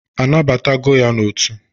A nabatago ya n'otu?